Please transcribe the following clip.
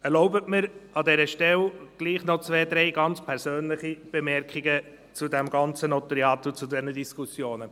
Erlauben Sie mir an dieser Stelle doch noch zwei, drei ganz persönliche Bemerkungen zum ganzen Notariat und zu diesen Diskussionen.